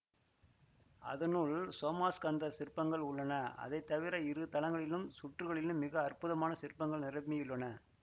அதனுள் சோமாஸ்கந்தர் சிற்பங்கள் உள்ளன அவைதவிர இரு தளங்களின் சுற்றுகளிலும் மிக அற்புதமான சிற்பங்கள் நிரம்பியுள்ளன